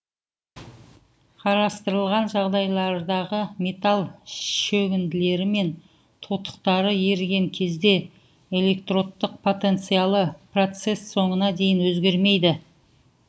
қарастырылған жағдайлардағы металл шөгінділері мен тотықтары еріген кезде электродтың потенциалы процесс соңына дейін өзгермейді